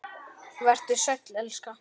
Vertu sæll, elska.